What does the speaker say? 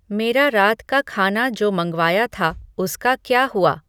मेरा रात का खाना जो मँगवाया था उसका का क्या हुआ